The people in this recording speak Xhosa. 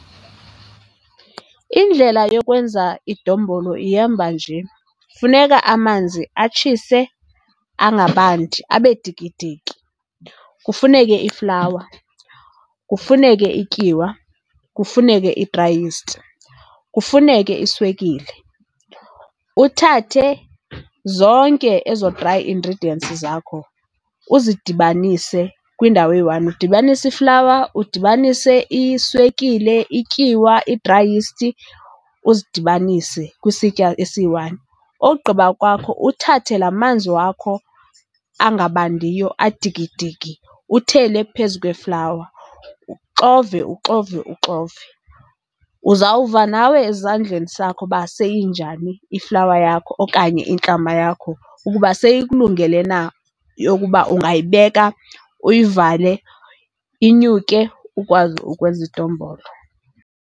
Indlela yokwenza idombolo ihamba nje. Funeka amanzi atshise, angabandi, abe dikidiki. Kufuneke iflawa, kufuneke ityiwa, kufuneke i-dry yeast, kufuneke iswekile. Uthathe zonke ezo dry ingredients zakho uzidibanise kwindawo eyi-one. Udibanise iflawa, udibanise iswekile, ityiwa, i-dry yeast, uzidibanise kwisitya esiyi-one. Ogqiba kwakho uthathe laa manzi wakho angabandiyo adikidiki uthele phezu kweflawa, uxove, uxove, uxove. Uzawuva nawe ezandleni sakho uba seyinjani iflawa yakho okanye intlama yakho, ukuba seyikulungele na yokuba ungayibeka, uyivale, inyuke ukwazi ukwenza idombolo.